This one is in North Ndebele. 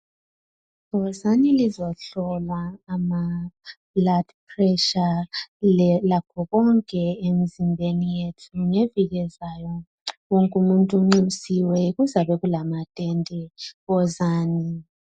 Wozani lizohlolwa ama blood pressure lakho konke emzimbeni yethu. Ngeviki ezayo wonke umuntu unxusiwe kuzabe kulamatende. Wozani.